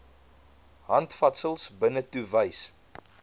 handvatsels binnetoe wys